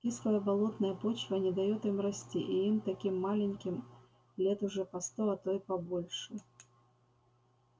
кислая болотная почва не даёт им расти и им таким маленьким лет уже по сто а то и побольше